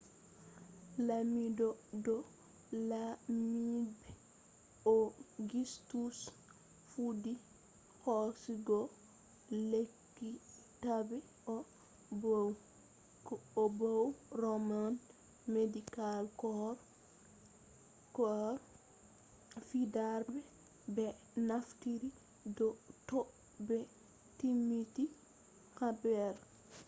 lamiɗo do lamiɓe augustus fuɗɗi hoosugo lekkitaɓe e bo'o heɓɓi be mo hauti roman medical corps fuɗɗarde ɓe naftira to ɓe timmini haɓre